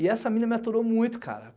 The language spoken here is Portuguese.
E essa mina me aturou muito, cara.